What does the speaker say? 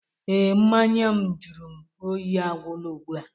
Ee, mmanya m jụrụ oyi agwụla ugbu a